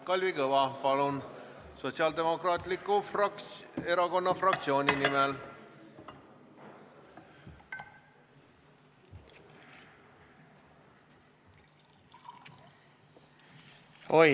Kalvi Kõva, palun, Sotsiaaldemokraatliku Erakonna fraktsiooni nimel!